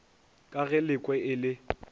ka ge lekwe e le